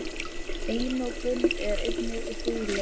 Einokun er einnig huglæg.